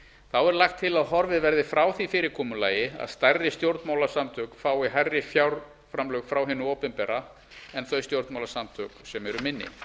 þá er lagt til að horfið verði frá því fyrirkomulagi að stærri stjórnmálasamtök fái hærri fjárframlög frá hinu opinbera en þau stjórnmálasamtök sem eru minni